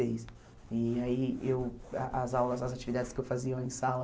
seis E aí eu a as aulas, as atividades que eu fazia em sala...